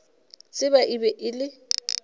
tseba e be e le